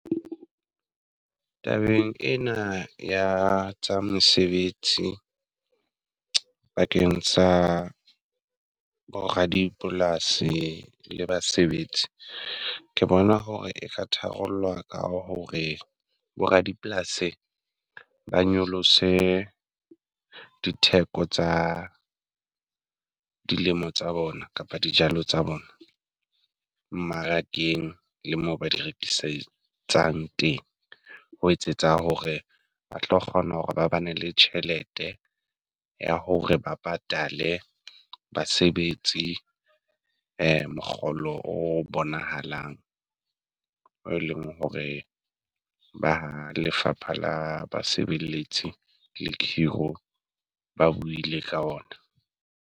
Tabeng ena ya tsa mesebetsi bakeng sa bo ra dipolasi le basebetsi, ke bona hore e ka tharollwa ka hore bo ra dipolasi ba nyolose ditheko tsa dilemo tsa bona kapa dijalo tsa bona mmarakeng le mo ba di rekisetsang teng. Ho etsetsa hore ba tlo kgona hore ba ba ne le tjhelete ya hore ba patale basebetsi mokgolo o bonahalang o eleng hore ba lefapha la basebelletsi le khiro ba buile ka ona.